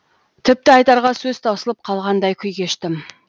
тіпті айтарға сөз таусылып қалғандай күй кештім